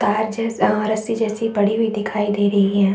तार जैसा और रस्सी जैसी पड़ी हुई दिखाई दे रही हैं ।